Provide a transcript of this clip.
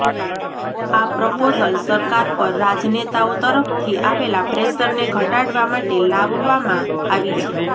આ પ્રપોઝલ સરકાર પર રાજનેતાઓ તરફથી આવેલા પ્રેશરને ઘટાડવા માટે લાવવમાં આવી છે